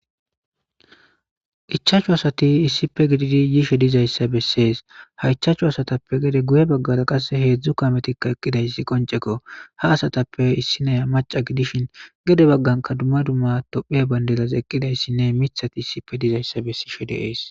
Ichaachu asati issipe gididi yishe dizayssa bessees haichaachchu asatappe gede guye baggara qasse heedzdzu kametikka eqqidayssi qonceko ha asatappe issinaya maca gidishin gede bagganka dumma dumma tophea bandelaz eqqidayssinne mithati issife dizayssa bessishe deees